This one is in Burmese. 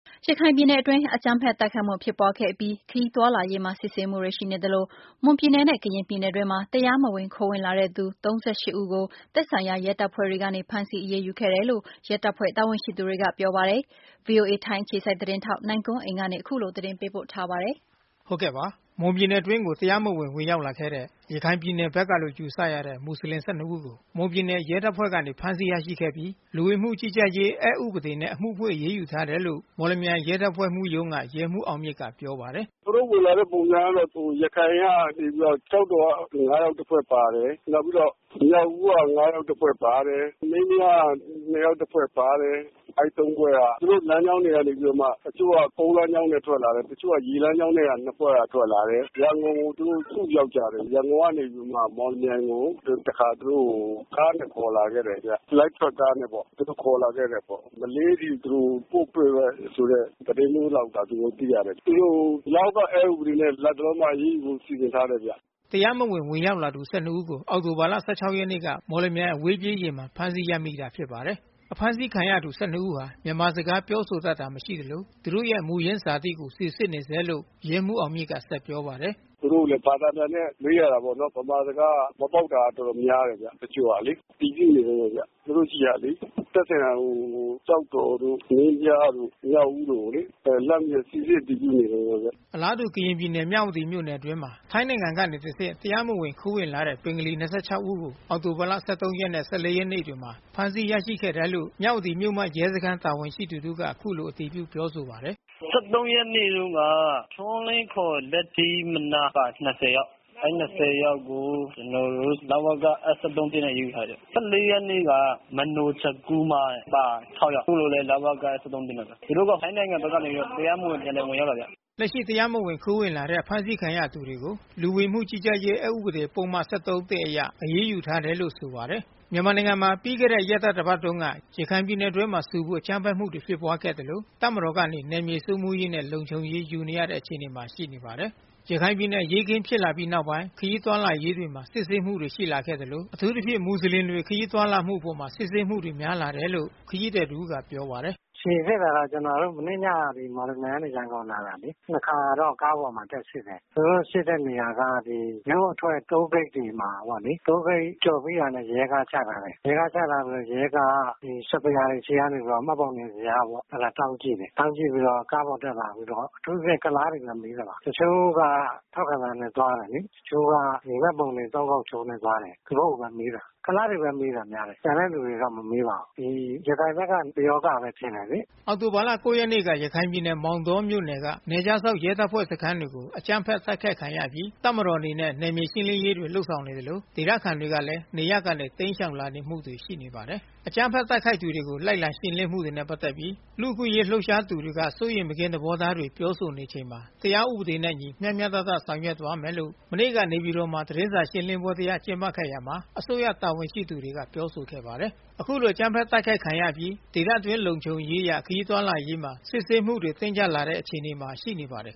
ရခိုင်ပြည်နယ်အတွင်း အကြမ်းဖက်တိုက်ခိုက်မှုဖြစ်ပွါးခဲ့အပြီး ခရီးသွားလာရေးမှာစစ်ဆေးမှုတွေရှိနေသလို မွန်ပြည် နယ်နဲ့ကရင်ပြည်နယ်အတွင်းမှာ တရားမဝင်ခိုးဝင်လာတဲ့သူ ဦးကို သက်ဆိုင်ရာရဲတပ်ဖွဲ့တွေကနေ ဖမ်းဆီးအရေး ယူခဲ့တယ်လို့ ရဲတပ်ဖွဲ့တာဝန်ရှိသူတွေကပြောပါတယ်။ ဗွီအိုအေထိုင်းအခြေစိုက်သတင်းထောက် နိုင်ကွန်းအိန်ကနေ အခုလို သတင်းပေးပို့ထားပါတယ်။ မွန်ပြည်နယ်အတွင်းကို တရားမဝင်ဝင်ရောက်လာတဲ့ ရခိုင်ပြည်နယ်ဘက်ကလို့ယူဆရတဲ့ မူဆလင် ဦးကို မွန်ပြည်နယ်ရဲတပ်ဖွဲ့ကနေ ဖမ်းဆီးရရှိခဲ့ပြီး လူဝင်မှုကြီးကြပ်ရေးအက်ဥပဒေနဲ့ အမှုဖွင့်အရေးယူထားတယ်လို့ မော်လ မြိုင်မြို့ရဲတပ်ဖွဲ့မှူးရုံးက ရဲမှူးအောင်မြင့်ကပြောပါတယ်။ “သူတို့ဝင်လာတဲ့ပုံစံကတော့ ရခိုင်ကနေပြီးတော့ ကျောက်တော်က ၅ ယောက်တဖွဲ့ပါတယ်၊ နောက်ပြီးတော့ မြောက်ဦးက ၅ ယောက်တဖွဲ့ပါတယ်၊ မင်းပြား က ၂ ယောက်တဖွဲ့ပါတယ်။ အဲဒီ ၃ ဖွဲ့က သူတို့လမ်းကြောင်းတွေမှ တချို့က ကုန်းလမ်းကြောင်းနဲ့ထွက်လာတယ်၊ တချို့က ရေလမ်းကြောင်းနဲ့ ၂ ဖွဲ့က ထွက်လာတယ်။ ရန်ကုန်ကို စုရောက်ကြတယ် ၊ ရန်ကုန်ကနေပြီးတော့မှ မော်လမြိုင်ကို တခါ ကားနဲ့ ခေါ်လာခဲ့တယ်။ မလေးထိပို့မယ်ဆိုတဲ့ သတင်းသိရတယ်။ သူတို့ကို လဝက အက်ဥပဒေနဲ့ အရေးယူဖို့စီစဉ်ထားတယ်။” တရားမဝင်ဝင်ရောက်လာသူ ဦးကို အောက်တိုဘာလ ရက်နေ့မှာ မော်လမြိုင်အဝေးပြေးယာဉ်မှာ ဖမ်းဆီးရမိ တာဖြစ်ပါတယ်။ ဖမ်းဆီးခံရသူ ဦးဟာ မြန်မာစကားပြောဆိုတတ်တာမရှိသလို သူတို့ရဲ့မူရင်းဇာတိကို စီစစ်နေဆဲလို့ ရဲမှူးအောင် မြင့်က ဆက်ပြောပါတယ်။ “သူတို့ကို ဘာသာပြန်နဲ့မေးရတာပေါ့နော် ။ မြန်မာစကားကလည်း မပေါက်တာများတယ် တချိုကလေ။ စီစစ်နေတုန်းပဲခင်ဗျ တချို့ကလေ သက်ဆိုင်ရာ ကျောက်တော်တို့ ၊ မင်းပြားတို့ ကိုလှမ်းပြီးတော့ စီစစ်အတည်ပြုနေတုန်းပဲခင်ဗျ။” အလားတူ ကရင်ပြည်နယ် မြဝတီမြို့နယ်မြို့နယ်အတွင်းမှာ ထိုင်းနိုင်ငံကနေတဆင့် တရားမဝင်ခိုးဝင်လာတဲ့ ဘင်္ဂါလီ ဦးကို အောက်တိုဘာ ရက်နေ့တွေမှာဖမ်းဆီးရရှိခဲ့တယ်လို့ မြဝတီမြို့မရဲစခမ်းတာဝန်ရှိသူတဦးက အခု လိုအတည်ပြုပြောဆိုပါတယ်။ “ ၁၃ ရက်နေ့တုန်းက ထွန်းလင်း လတီးမနားက ၂၀ ယောက် အဲဒီ ၂၀ ယောက်ကို လဝက အက် ၁၃ နဲ့ အရေးယူထားတယ်။ ၁၄ ရက်နေ့က မနိုချက်ကူးမား က ၆ ယောက် သူတို့ကလိုလည်း လဝက အက် ၁၃ နဲ့ အရေးယူထားတယ်။ ဒီလိုပဲ တဖက်နိုင်ငံကနေပြီးတော့ တရားမဝင် ဝင်ရောက်လာတာဗျ။” လက်ရှိတရားမဝင်ခိုးဝင်လာတဲ့အဖမ်းဆီးခံရသူတွေကို လူဝင်မှုကြီးကြပ်ရေး အက်ဥပဒေပုဒ်မ ၁၃ အရ အရေးယူထားတယ်လို့ဆိုပါတယ်။ မြန်မာနိုင်ငံမှာ ပြီးခဲ့တဲ့ရက်သတ္တပါတ်တုန်းက ရခိုင်ပြည်နယ်အတွင် းဆူပူအကြမ်းဖက်မှုတွေဖြစ်ပွါးခဲ့ သလို တပ်မတော် ကနေ နယ်မြေစိုးမိုးရေးနဲ့လုံခြုံရေးယူနေရတဲ့အခြေအနေမှာရှိနေပါတယ်။ ရခိုင်ပြည်နယ်အရေးအခင်းဖြစ်လာတဲ့နောက်ပိုင်း ခရီးသွားလာရေးမှာစစ်ဆေးမှုတွေရှိလာခဲ့သလို အထူးသဖြင့် မူဆလင်နွယ်ဖွါးတွေခရီးသွားလာမှုအပေါ် စစ်ဆေးမှုများလာတယ်လို့ ခရီးသည်တဦးကပြောပါတယ်။ “စိစစ်တာကတော့ မနေ့ညကနေ ရန်ကုန်က မော်လမြိုင်ကိုလာတာလေ ၂ ခါလောက် ကားပေါ်မှာ တက်စစ်တယ်။ သူတို့ စစ်တဲ့နေရာက မြို့အထွက် တိုးဂိတ်တွေမှာ ။ တိုးဂိတ်ကျော်တာနဲ့ ရဲကားချထားတယ်။ ရဲကားက စပယ်ယာ ဆီကနေပြီးတော့ မှတ်ပုံတင်ဇယားကို တောင်းကြည့်တယ်။ တောင်းပြီးတော့ ကားပေါ်တက်လာပြီးတော့ အထူးသဖြင့် ကုလားတွေကိုမေးတယ်။ တချို့က ထောက်ခံစာနဲ့သွားတယ်လေ။ တချို့က မှတ်ပုံတင် ၃ ခေါက်ချိုးနဲ့ သွားတယ်။ သူတို့ကိုပဲမေးတယ် ကုလားတွေကိုမေးတာများတယ်။ ကျန်တဲ့လူတွေ ကိုတော့ မမေးပါဘူး။ ရခိုင်ဘက်က ပယောဂပဲလို့ ထင်တယ်လေ။” အောက်တိုဘာလ ရက်နေ့က ရခိုင်ပြည်နယ်မောင်တောမြို့နယ်က နယ်ခြားစောင့်ရဲတပ်ဖွဲ့စခန်း တွေကို အကြမ်း ဖက် တိုက်ခိုက်ခံရအပြီး တပ်မတော်အနေနဲ့နယ်မြေရှင်းလင်းရေးတွေလုပ်ဆောင်နေသလို ဒေသခံတွေကလဲ နေရပ် ကနေတိမ်းရှောင်လာမှုတွေရှိနေပါတယ်။ အကြမ်းဖက်တိုက်ခိုက်သူတွေကို လိုက်လံရှင်းလင်းမှုတွေနဲ့ပတ်သက်ပြီး လူ့အခွင့်အရေးလှုပ်ရှားသူတွေက စိုးရိမ် မကင်းသဘောထားတွေ ပြောဆိုနေချိန်မှာ တရားဥပဒေနဲ့အညီ မျှမျှတတဆောင်ရွက်သွားမယ်လို့ မနေ့က နေပြည်တော်သတင်းစာရှင်းလင်းပွဲတရပ်ကျင်းပရာမှာ အစိုးရတာဝန်ရှိသူတွေက ပြောဆိုခဲ့ပါတယ်။ အခုလိုအကြမ်းဖက်တိုက်ခိုက်ခံရအပြီး ဒေသတွင်းလုံခြုံရေးအရ ခရီးသွားလာရေးမှာ စစ်ဆေးမှုတွေတင်းကြပ် လာတဲ့အခြေအနေမှာရှိနေပါတယ်